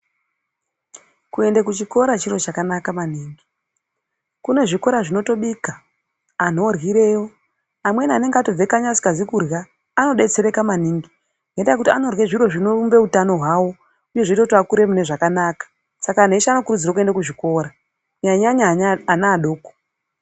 Kuenda kuchikora chiro chakanaka maningi kune zvikora zvinotobika antu aoryirayo amweni anenge atobva kanyi asina kurya anodetsereka maningi ngekuti anorya zviro zvinoumba utano hwavo zvinozoita akure zvakanaka Saka vantu veshe vanokurudzirwa kuenda kuchikora kunyanyanyanya vana vadoko.